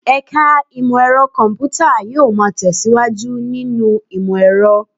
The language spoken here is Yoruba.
Ẹ̀ka Imọ-ẹrọ Kọmputa yóò máa tẹ̀síwájú nínú ìmọ̀-ẹ̀rọ̀